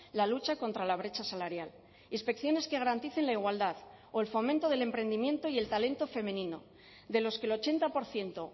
la lucha contra la brecha salarial inspecciones que garanticen la igualdad o el fomento del emprendimiento y el talento femenino de los que el ochenta por ciento